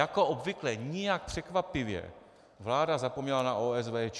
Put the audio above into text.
Jako obvykle, nijak překvapivě, vláda zapomněla na OSVČ.